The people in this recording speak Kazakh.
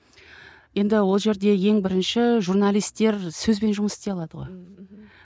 енді ол жерде ең бірінші журналистер сөзбен жұмыс істей алады ғой ммм мхм